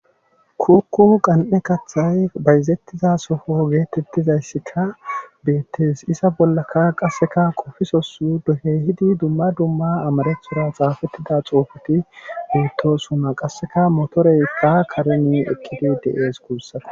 Kukku qan7e kaththay bayzettiza sofo geetettizayssika beettes isa bollaka qasseka qofisosu dohe hidi dumma dumma amarethora xaafettida xuufuti duuttosuma qasseka motoreykka kareni ekkidi deees guussara.